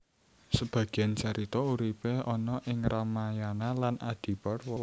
Sebagian carita uripe ana ing Ramayana lan Adiparwa